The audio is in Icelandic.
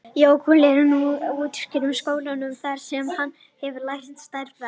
Jökull er nú að útskrifast úr skólanum þar sem hann hefur lært stærðfræði.